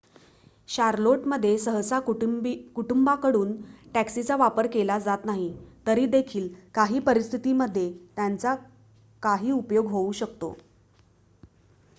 Charlotte मध्ये सहसा कुटुंबांकडून टॅक्सीचा वापर केला जात नाही तरी देखील काही परिस्थिती मध्ये त्यांचा काही उपयोग होऊ शकतो